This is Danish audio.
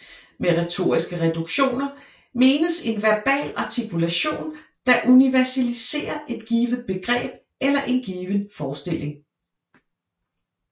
Med retoriske reduktioner menes en verbal artikulation der universaliserer et givet begreb eller en given forestilling